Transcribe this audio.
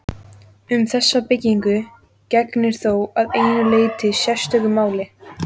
Um þessa byggingu gegnir þó að einu leyti sérstöku máli.